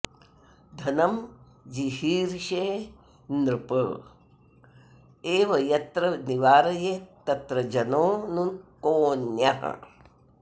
धनं जिहीर्षेन्नृप एव यत्र निवारयेत्तत्र जनो नु कोऽन्यः